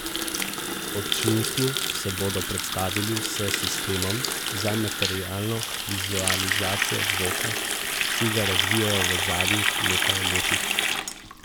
Občinstvu se bodo predstavili s sistemom za materialno vizualizacijo zvoka, ki ga razvijajo v zadnjih nekaj letih.